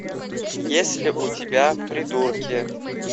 есть ли у тебя придурки